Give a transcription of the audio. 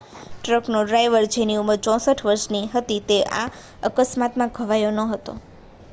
ટ્રકનો driver જેની ઉંમર 64 વર્ષ હતી તે આ અકસ્માતમાં ઘવાયો ન હતો